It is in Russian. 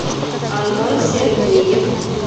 антон сергеев